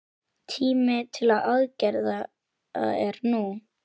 Tíminn til aðgerða er nú!